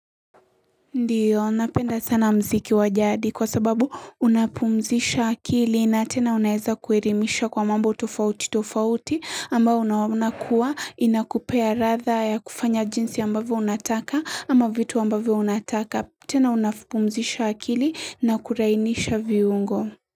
Ndiyo napenda sana muziki wa jadi kwa sababu unapumzisha akili na tena unaweza kuelimisha kwa mambo tofauti tofauti ambao unakua inakupea ladha ya kufanya jinsi ambavyo unataka ama vitu ambavyo unataka tena unapumzisha akili na kulainisha viungo.